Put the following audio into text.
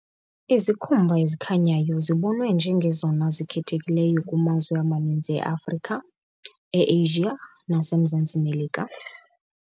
Izikhumba ezikhanyayo zibonwe njengazona zikhethekileyo kumazwe amaninzi eAfrika, eAsia naseMzantsi Melika .